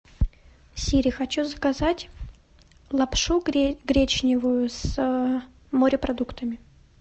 сири хочу заказать лапшу гречневую с морепродуктами